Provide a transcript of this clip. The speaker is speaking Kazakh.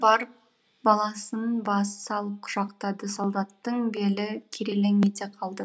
барып баласын бас салып құшақтады солдаттың белі кирелең ете қалды